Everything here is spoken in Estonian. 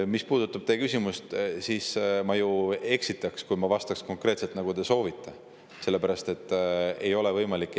Mis puudutab teie küsimust, siis ma ju eksitaks, kui ma vastaks konkreetselt, nagu te soovite, sest ei ole võimalik.